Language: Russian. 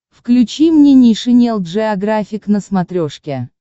включи мне нейшенел джеографик на смотрешке